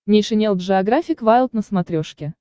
нейшенел джеографик вайлд на смотрешке